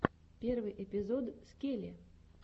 первый эпизод скеле